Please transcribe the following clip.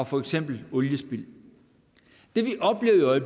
for eksempel oliespild det vi oplever i